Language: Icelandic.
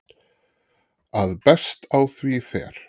að best á því fer